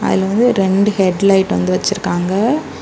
இங்க வந்து ரெண்டு ஹெட் லைட் வந்து வச்சிருக்காங்க.